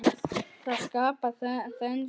Þetta skapar þenslu.